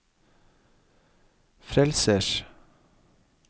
frelsers